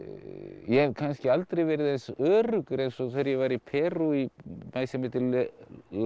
ég hef kannski aldrei verið eins öruggur eins og þegar ég var í Perú í bæ sem heitir la